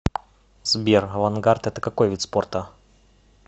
сбер авангард это какой вид спорта